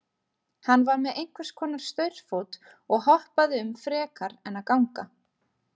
Hann var með einhvers konar staurfót og hoppaði um frekar en að ganga.